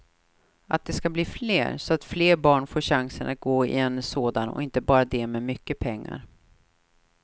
Att de ska bli fler, så att fler barn får chansen att gå i en sådan och inte bara de med mycket pengar.